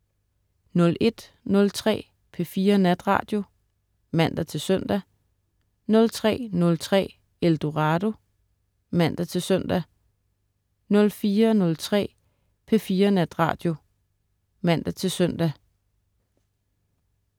01.03 P4 Natradio (man-søn) 03.03 Eldorado* (man-søn) 04.03 P4 Natradio (man-søn)